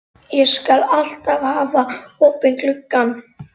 Ég skal alltaf hafa opinn gluggann.